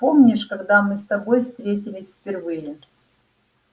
помнишь когда мы с тобой встретились впервые